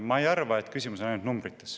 Ma ei arva, et küsimus on ainult numbrites.